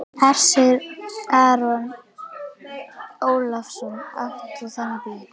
Hersir Aron Ólafsson: Átt þú þennan bíl?